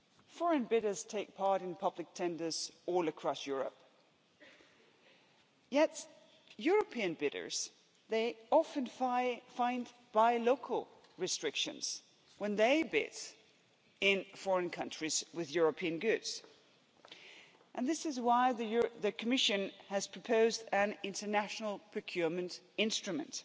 Foreign bidders take part in public tenders all across Europe, yet European bidders, they often find buy local restrictions' when they bid in foreign countries with European goods, and this is why the Commission has proposed an international procurement instrument.